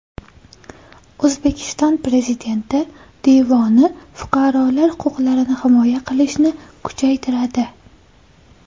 O‘zbekiston Prezidenti devoni fuqarolar huquqlarini himoya qilishni kuchaytiradi.